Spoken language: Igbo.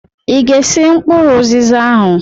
Ị ga-esi mkpụrụ ụzịza ahụ!